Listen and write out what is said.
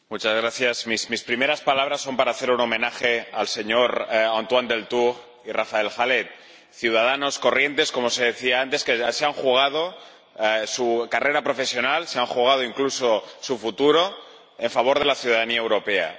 Señora Presidenta, mis primeras palabras son para hacer un homenaje a Antoine Deltour y a Raphaël Halet, ciudadanos corrientes —como se decía antes— que se han jugado su carrera profesional, se han jugado incluso su futuro, en favor de la ciudadanía europea.